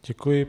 Děkuji.